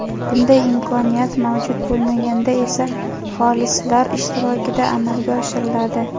bunday imkoniyat mavjud bo‘lmaganda esa xolislar ishtirokida amalga oshiriladi.